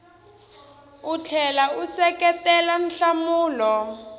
u tlhela u seketela nhlamulo